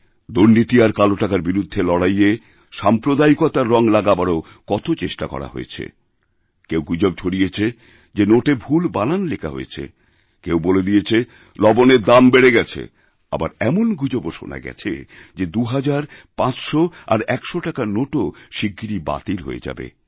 দুর্নীতিআর কালোটাকার বিরুদ্ধে লড়াইয়ে সাম্প্রদায়িকতার রঙ লাগাবারও কত চেষ্টা হয়েছে কেউগুজব ছড়িয়েছে যে নোটে ভুল বানান লেখা হয়েছে কেউ বলে দিয়েছে লবণের দাম বেড়ে গেছেআবার এমন গুজবও শোনা গেছে যে ২০০০ ৫০০ আর ১০০ টাকার নোটও শিগগিরই বাতিল হয়েযাবে